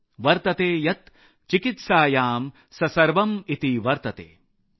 वतर्ते यत् चिकित्सायां स सवर्म इति वर्तते ।।